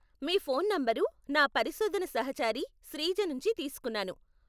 మీ phone number నా పరిశోధన సహాచరి శ్రీజ నుంచి తీసుకున్నాను.